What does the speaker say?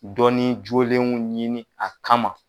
Dɔnni jolenw ɲini a kama.